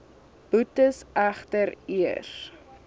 boetes egter eers